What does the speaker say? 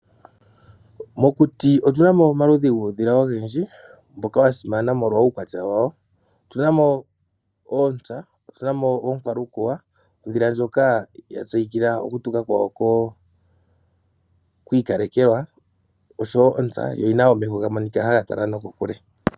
Mokuti otu na mo omaludhi guudhila ogendji mboka wa simana molwa uukwatya wawo. Otu na mo oontsa, otu na oonkwalukuwa, ondhila ndjoka ya tseyikila okutuka kwayo kwi ikalekelwa, osho wo ontsa, yo oyi na omeho ga monika haga tala nokokule.